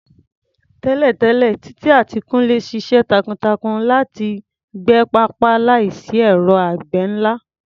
Tẹ́lẹ̀tẹ́lẹ̀, Titi àti Kunle ṣiṣẹ́ takuntakun láti gbẹ pápá láìsí ẹ̀rọ àgbẹ̀ ńlá.